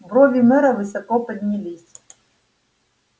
брови мэра высоко поднялись